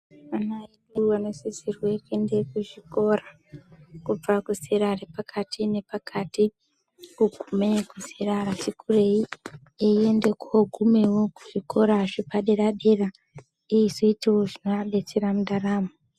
Vana vedu vanosisirwe kuende kuchikora. Kubva kuzera repakati nepakati, kugume kuzera rati kurei, eiende kogumewo kuzvikora zvepadera dera, eizoitawo zvinoadetsera mundaramo.